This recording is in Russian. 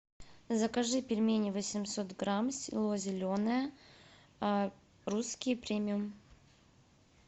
закажи пельмени восемьсот грамм село зеленое русские премиум